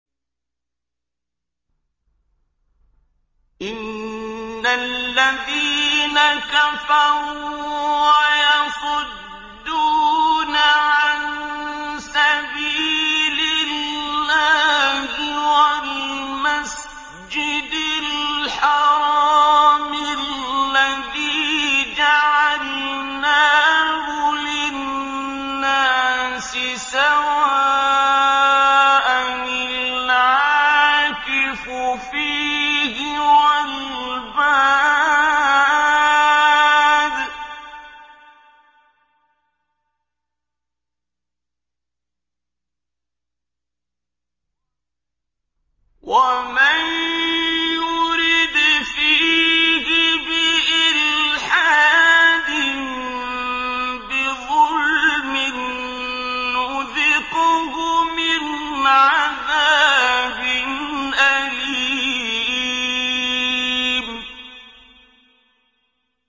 إِنَّ الَّذِينَ كَفَرُوا وَيَصُدُّونَ عَن سَبِيلِ اللَّهِ وَالْمَسْجِدِ الْحَرَامِ الَّذِي جَعَلْنَاهُ لِلنَّاسِ سَوَاءً الْعَاكِفُ فِيهِ وَالْبَادِ ۚ وَمَن يُرِدْ فِيهِ بِإِلْحَادٍ بِظُلْمٍ نُّذِقْهُ مِنْ عَذَابٍ أَلِيمٍ